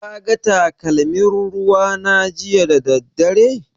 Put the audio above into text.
Ka ga takalmin ruwa na jiya da daddare?